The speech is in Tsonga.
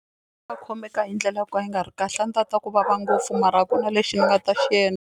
Khomeka hi ndlela yo ka yi nga ri kahle a ndzi ta twa ku vava ngopfu mara a ku na lexi ni nga ta xi endla.